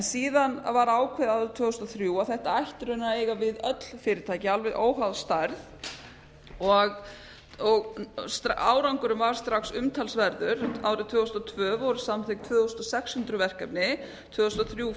síðan var ákveðið árið tvö þúsund og þrjú að þetta ætti raunar að eiga við öll fyrirtæki alveg óháð stærð árangurinn var strax umtalsverður árið tvö þúsund og tvö voru samþykkt tvö þúsund sex hundruð verkefni tvö þúsund og þrjú